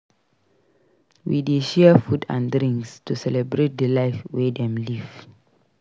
We dey share food and drinks to celebrate di life wey dem live.